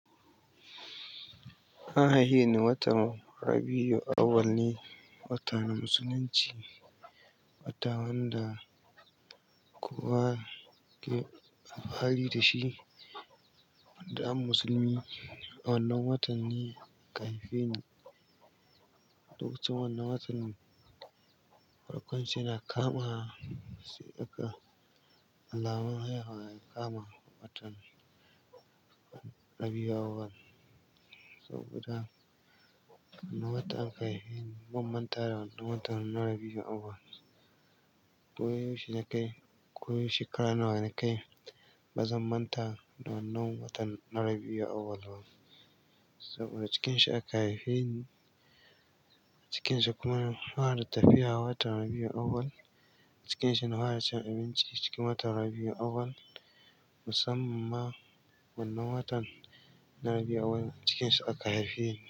An haiheni watan Rabiyyu awwal ne, wata na musulunci. Wata wanda kowa kowa alfahari da shi, wanda an musulmi wannan watan ne aka haife ni. Lokacin wannan watan, farkon shi yana kama, sai aka alamar haihuwa ya kama watan Rabiyyu awwal. Saboda wannan watan aka haife ni, ban mantawa da wannan watan na Rabiyyu awwal. Koyaushe na kai, ko shekara nawa na kai, ba zan manta da wannan watan na Rabiyyu awwal ba. Saboda cikin shi aka haife ni, cikin shi kuma na hwara tafiya watan Rabiyyu awwal. Cikin shi na hwara cin abinci cikin watan Rabiyyu awwal. Musamman ma wannan watan na Rabiyyu awwal cikin shi aka haife ni.